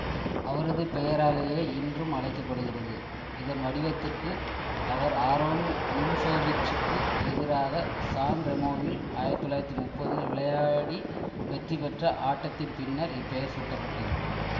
அவரது பெயராலேயே இன்றும் அழைக்க படுகிறது இதன் வடிவத்துக்கு அவர் ஆரோன் நிம்சோவிச்சுக்கு எதிராக சான் ரெமோவில் ஆயிரத்தி தொள்ளாயிரத்தி முப்பதில் விளையாடி வெற்றிபெற்ற ஆட்டத்தின் பின்னர் இப்பெயர் சூட்டப்பட்டது